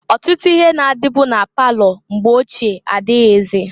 Otutu ihe na-adịbụ na palọ mgbe ochie adịghịzị.